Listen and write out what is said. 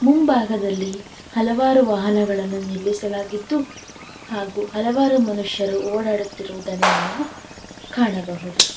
ಮುಂಭಾಗದಲ್ಲಿ ಹಲವಾರು ವಾಹನಗಳನ್ನು ನಿಲ್ಲಿಸಲಾಗಿದ್ದು ಹಾಗೂ ಹಲವಾರು ಮನುಷ್ಯರು ಓಡಾಡುತ್ತಿರುವುದನ್ನು ನಾವು ಕಾಣಬಹುದು.